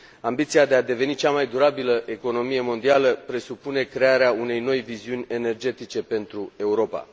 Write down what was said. Ambiția de a deveni cea mai durabilă economie mondială presupune crearea unei noi viziuni energetice pentru Europa.